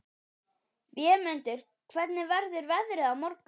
Vémundur, hvernig verður veðrið á morgun?